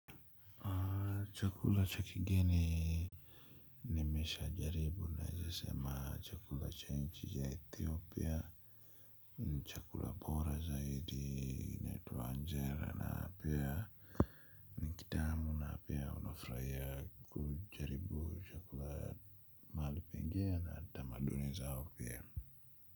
Chakula cha kigeni. Nimeshajaribu naeze sema chakula cha inchi ya ethiopia. Chakula bora zaidi inaitwa anjela na pia kitamu na pia unafraia kujaribu chakula mali pengine na tamaduni zao pia.